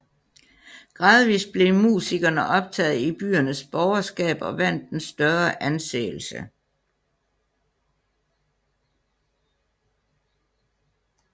Gradvist blev musikerne optaget i byernes borgerskab og vandt en større anseelse